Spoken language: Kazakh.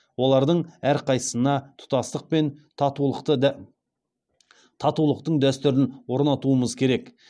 олардың әрқайсысына тұтастық пен татулықтың дәстүрін орнатуымыз керек